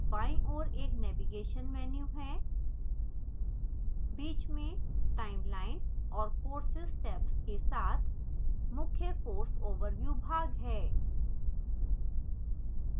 बाईं ओर एक navigation menu है बीच में timeline और courses tabs के साथ मुख्य course overview भाग है